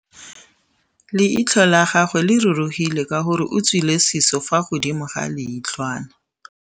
Leitlhô la gagwe le rurugile ka gore o tswile sisô fa godimo ga leitlhwana.